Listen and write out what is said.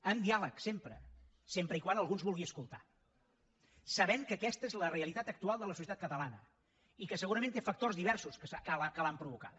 amb diàleg sempre sempre que algú ens vulgui escoltar sabent que aquesta és la realitat actual de la societat catalana i que segurament té factors diversos que l’han provocada